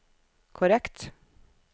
korrekt